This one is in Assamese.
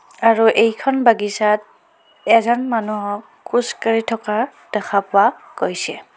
আৰু এইখন বাগিচাত এজন মানুহক খোজ কাঢ়ি থকা দেখা পোৱা গৈছে।